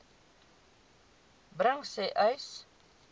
bring sê uys